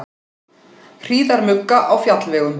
Hríðarmugga á fjallvegum